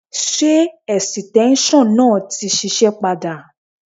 Ṣé ẹ̀sìtẹ́ńṣọ̀ náà ti ń ṣiṣẹ́ padà?